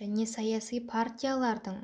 және саяси партиялардың